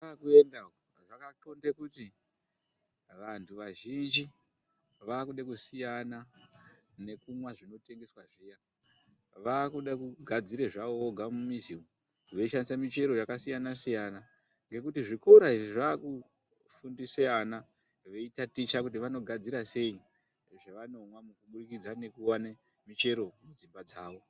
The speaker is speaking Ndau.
Kwatakuenda uku zvakatxonde kuti vantu vazhinji vakuda kusiyana nekumwa zvinotengeswa zviya. Vakude kugadzira zvavo vega mumizi umu veishandise michero vakasiyana-siyana. Ngekuti zvikora izvi zvakufundise ana veitaticha nekuti vanogadzirwa sei zvavanomwa mu kubudikidza nekuvane mishero mudzimba dzavo.